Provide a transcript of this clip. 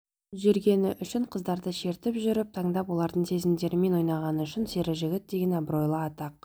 жүргені үшін қыздарды шертіп жүріп таңдап олардың сезімдерімен ойнағаны үшін сері жігіт деген абыройлы атақ